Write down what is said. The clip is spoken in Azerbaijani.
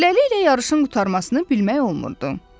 Beləliklə yarışın qurtarmasını bilmək olmurdu.